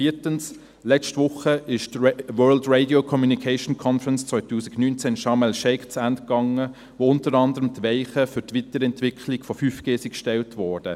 Viertens: Letzte Woche ging die World Radiocommunication Conference 2019 (WRC-2019) in Sharm el-Sheikh zu Ende, in der unter anderem die Weichen für die Weiterentwicklung von 5G gestellt wurden.